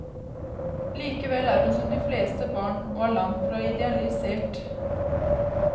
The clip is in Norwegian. Likevel er hun som de fleste barn, og er langtfra idealisert.